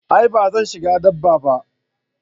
a'a ba zan shiga daba ba